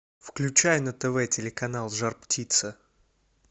включай на тв телеканал жар птица